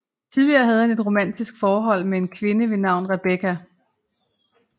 Tidligere havde han et romantisk forhold med en kvinde ved navn Rebecca